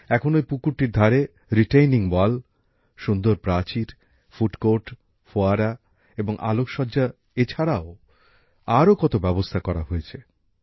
এখন ঐ পুকুরটিতে পার বাধানো হয়েছে সুন্দর প্রাচীর ফুড কোর্ট ফোয়ারা এবং আলোকসজ্জা− এরকম আরও কত ব্যবস্থা করা হয়েছে